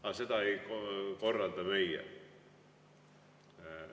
Aga seda ei korralda meie.